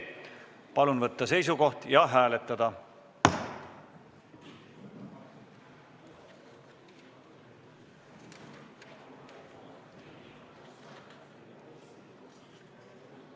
Palun võtta seisukoht ja hääletada!